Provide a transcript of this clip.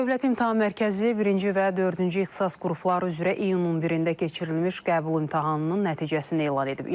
Dövlət İmtahan Mərkəzi birinci və dördüncü ixtisas qrupları üzrə iyunun 11-də keçirilmiş qəbul imtahanının nəticəsini elan edib.